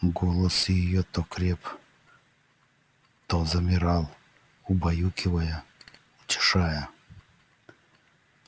голос её то креп то замирал убаюкивая утешая